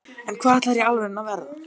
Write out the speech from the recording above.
en hvað ætlarðu í alvörunni að verða?